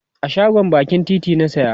a shagon bakin titi na saya